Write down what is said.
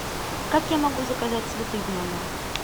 как я могу заказать цветы в номер